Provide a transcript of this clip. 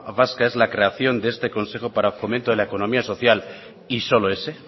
vasca es la creación de este consejo vasco para fomento de la economía social y solo ese